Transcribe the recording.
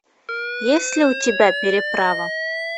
есть ли у тебя переправа